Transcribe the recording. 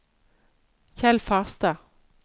Kjell Farstad